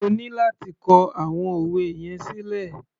O ní láti kọ àwọn òwe yẹn sílẹ̀.